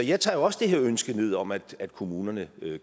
jeg tager jo også det her ønske ned om at kommunerne